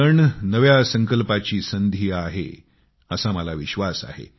सण नव्या संकल्पाची संधी आहे असा मला विश्वास आहे